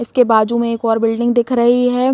उसके बाजू में एक और बिल्डिंग दिख रही है।